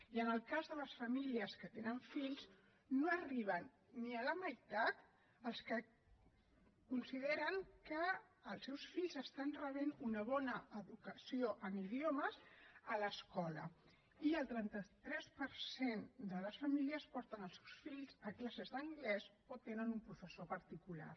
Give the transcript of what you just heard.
i en el cas de les famílies que tenen fills no arriben ni a la meitat els que consideren que els seus fills estan rebent una bona educació en idiomes a l’escola i el trenta tres per cent de les famílies porten els seus fills a classes d’anglès o tenen un professor particular